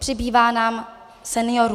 Přibývá nám seniorů.